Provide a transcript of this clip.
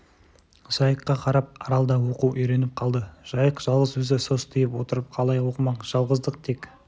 жайыққа қарап арал да оқу үйреніп қалды жайық жалғыз өзі состиып отырып қалай оқымақ жалғыздық тек